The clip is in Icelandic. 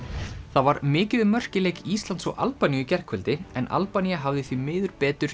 það var mikið um mörk í leik Íslands og Albaníu í gærkvöldi en Albanía hafði því miður betur